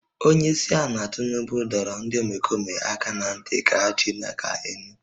Onye isi ala Tinubu dọrọ ndị omekome aka ná ntị ka ha chịlie aka elu